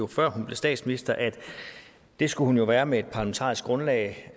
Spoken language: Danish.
før hun blev statsminister at det skulle hun være med et parlamentarisk grundlag